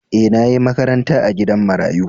E, na yi makaranta a gidan marayu.